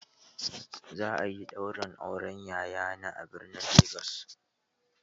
Za a yi ɗaurin auren yayana a birnin Legas.